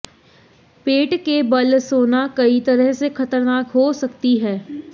पेट के बल सोना कई तरह से खतरनाक हो सकती है